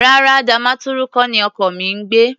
Rárá, Damaturu kọ́ ni ọkọ mi ń gbé.